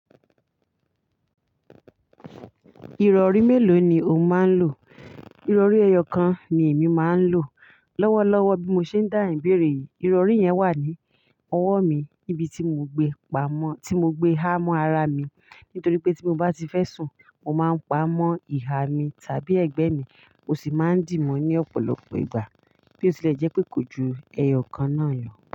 Ìrọ̀rí mélòó ni o máa ń lò? Ìrọ̀rí ẹyọ kan ni èmi máa ń lò. Lọ́wọ́lọ́wọ́ bí mo ṣe ń dáhùn ìbéèrè yìí, ìrọ̀rí yẹn wà ní ọwọ́ mi, ibi tí mo gbé pamọ́, tí mo gbé ha mọ́ ara mi nítorí pé tí mo bá ti fẹ́ sùn, mo máa ń pamọ́ ìhà mi tàbí ẹ̀gbẹ́ mi. Mò sì máa ń dì mọ́ ní ọ̀pọ̀lọpọ̀ ìgbà bí ó tilẹ̀ jẹ́ pé kò ju ẹyọ kan náà lọ.